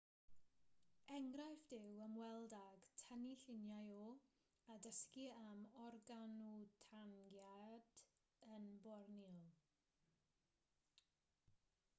enghraifft yw ymweld ag tynnu lluniau o a dysgu am orangwtangiaid yn borneo